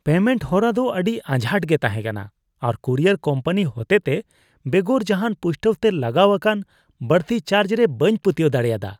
Payment ᱦᱚᱨᱟ ᱫᱚ ᱟᱹᱰᱤ ᱟᱡᱷᱟᱴ ᱜᱮ ᱛᱟᱸᱦᱮ ᱠᱟᱱᱟ ᱟᱨ ᱠᱩᱨᱤᱭᱟᱨ ᱠᱳᱢᱯᱟᱱᱤ ᱦᱚᱛᱮᱛᱮ ᱵᱮᱜᱚᱨ ᱡᱟᱦᱟᱱ ᱯᱩᱥᱴᱟᱹᱣ ᱛᱮ ᱞᱟᱜᱟᱣ ᱟᱠᱟᱱ ᱵᱟᱹᱲᱛᱤ ᱪᱟᱨᱡ ᱨᱮ ᱵᱟᱹᱧ ᱯᱟᱹᱛᱭᱟᱹᱣ ᱫᱟᱲᱮᱭᱟᱫᱟ ᱾